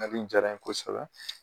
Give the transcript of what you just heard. jara n ye kosɛbɛ